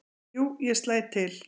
"""Jú, ég slæ til"""